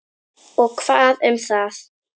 Og hvað um það!